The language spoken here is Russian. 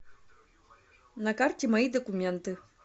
на карте мои документы